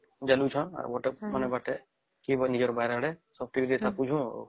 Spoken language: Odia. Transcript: ଜଳୁଛନ ଆଉ କେରେ ନିଜ ବାରି ଆଡେ କେରେ ସବୁ ଡାକୁଚ